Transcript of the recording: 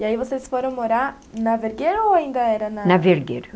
E aí vocês foram morar na Vergueiro ou ainda era na... Na Vergueiro.